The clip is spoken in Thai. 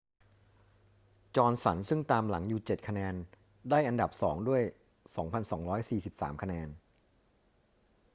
จอห์นสันซึ่งตามหลังอยู่ 7 คะแนน ได้อันดับสองด้วย 2,243 คะแนน